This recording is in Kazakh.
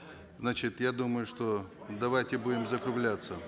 значит я думаю что давайте будем закругляться